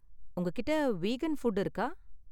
உங்ககிட்ட vegan food இருக்கா?